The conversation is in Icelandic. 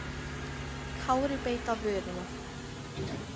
Kári beit á vörina.